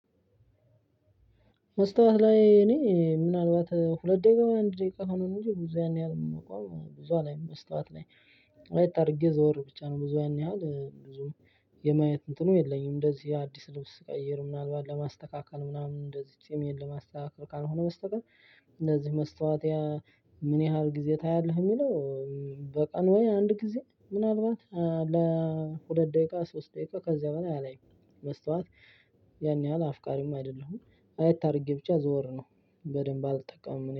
መስታወት ላይ እኔ ምናልባት ሁለት ደቂቃ አንድ ደቂቃ ሆኖ ነው እንጂ ብዙ ያን ያህል መቆም ብዙ አላይም መስታወት ላይ አይት አድርጌ ዘወር ብቻ ነው ብዙ ያን ያህል ብዙ የማየት እንትኑ የለኝም። እንደዚህ አዲስ ልብስ ስቀይር ምናልባት ለማስተካከል ምናምን እንደዚህ ጺሜን ለማስተካከል ካልሆነ መስተቀር እንደዚህ መስታወት። ምን ያህል ጊዜ ታያለህ የሚለው? በቀን ወይ አንድ ጊዜ ምናልባት ለሁለት ደቂቃ ሶስት ደቂቃ ከዚያ በላይ አላይም። መስታወት ያን ያህል አፍቃሪም አይደለሁም አይት አድርጌ ብቻ ዘወር ነው። በደንብ አልጠቀምም